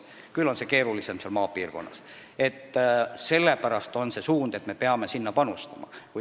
Küll on see keerulisem maapiirkonnas ja sellepärast on võetud see suund, et me peame sinna panustama.